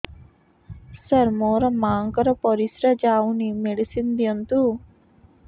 ସାର ମୋର ମାଆଙ୍କର ପରିସ୍ରା ଯାଉନି ମେଡିସିନ ଦିଅନ୍ତୁ